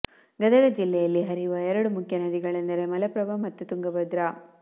ಗದಗ ಜಿಲ್ಲೆಯಲ್ಲಿ ಹರಿಯುವ ಎರಡು ಮುಖ್ಯ ನದಿಗಳೆಂದರೆ ಮಲಪ್ರಭಾ ಮತ್ತು ತುಂಗಭದ್ರಾ